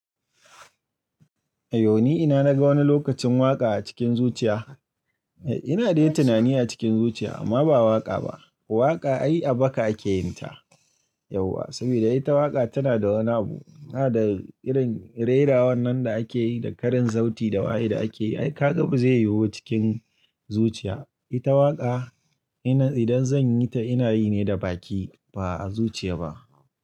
Ayo ni ina naga wani lokacin waƙa a cikin zuciya. Eh ina dai tunani a cikin zuciya amma ba waƙa ba. Waƙa ai a baka ake yin ta. Yauwa saboda ita waƙa tana da wani abu. Tana da irin rera wannan da ake yi da karin sauti da waye da ake yi. Ai ka ga ba zai yiwu cikin zuciya. Ita waƙa ina idan zan yi ta ina yi ne da baki ba a zuciya ba.